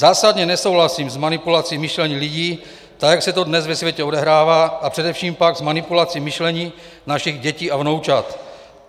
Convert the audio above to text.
Zásadně nesouhlasím s manipulací myšlení lidí, tak jak se to dneska ve světě odehrává, a především pak s manipulací myšlení našich dětí a vnoučat.